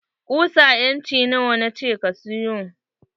Kusa inci nawa na ce ka sayo?